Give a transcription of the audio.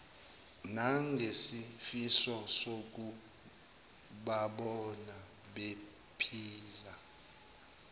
nangesifiso sokubabona bephila